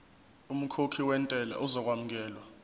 umkhokhi wentela uzokwamukelwa